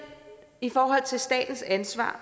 i forhold til statens ansvar